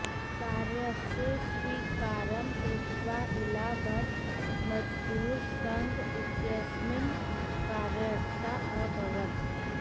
कार्यस्य स्वीकारं कृत्वा इला भट्ट मज़दूर संघ इत्यस्मिन् कार्यरता अभवत्